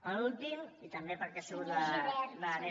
per últim i també perquè ha sigut la de més